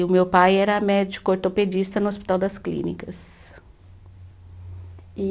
E o meu pai era médico ortopedista no Hospital das Clínicas. E